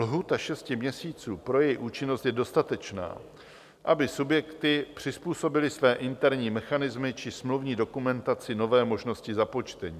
Lhůta šesti měsíců pro její účinnost je dostatečná, aby subjekty přizpůsobily své interní mechanismy či smluvní dokumentaci nové možnosti započtení.